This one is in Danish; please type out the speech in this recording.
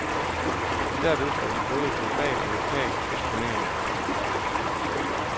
Derved får de både global og lokal eksponering.